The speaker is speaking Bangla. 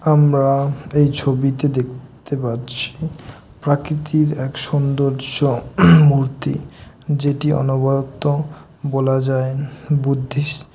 আমরা এই ছবিতে দেখতে পাচ্ছি প্রকৃতির এক সুন্দর মূর্তি। যেটি অনবরত বলা যায় বুদ্ধিস্ট --